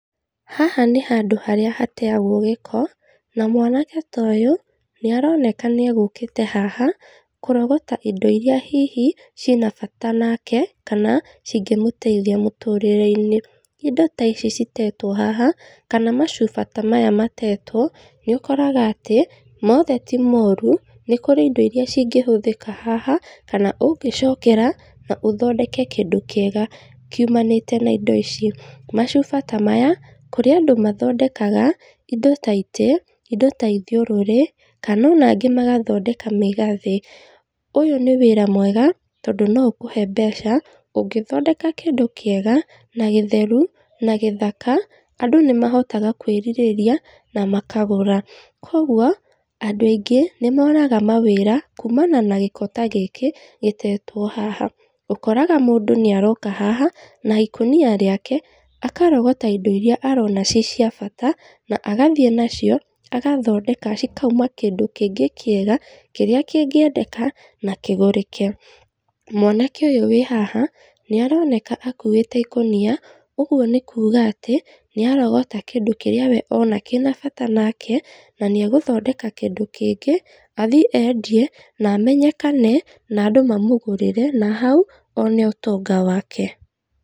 Haha nĩ handũ harĩa hateagwo gĩĩko, na mwanake ta ũyũ, nĩ aroneka nĩ egũkĩte haha kũrogota indo iria hihi ciĩna bata nake kana cingĩmũteithia mũtũrĩre-inĩ. Indo ta ici citetwo haha kana macuba ta maya matetwo nĩ ũkoraga atĩ, moothe ti moru nĩ kũrĩ indo iria cingĩhũthĩka haha kana ũngĩcokera na ũthondeke kĩndũ kĩega kiumanĩte na indo ici. Macuba ta maya kũrĩ andũ mathondekaga indo ta itĩ, indo ta ithiorũrĩ, kana ona angĩ magathondeka mĩgathĩ. Ũyũ nĩ wĩra mwega tondũ no ũkũhe mbeca, ũngĩthondeka kĩndũ kĩega, na gĩtheru na gĩthaka, andũ nĩ mahotaga kũĩrirĩria na makagũra. Kũguo andũ aingĩ nĩ monaga mawĩra kuumana na gĩko ta gĩkĩ gĩtetwo haha. Ũkoraga mũndũ nĩ aroka haha na ikũnia rĩake, akarogota indo iria arona ci cia bata na agathiĩ nacio agathondeka cikauma kĩndũ kĩngĩ kĩega kĩrĩa kĩngĩendeka na kĩgũrĩke. Mwanake ũyũ wĩ haha, nĩ aroneka akũĩte ikũnia, ũguo nĩ kuuga atĩ nĩ arogota kĩndũ kĩrĩa we ona kĩna bata nake, na nĩ egũthondeka kĩndũ kĩngĩ, athiĩ endie na amenyekane na andũ mamũgũrĩre na hau one ũtonga wake.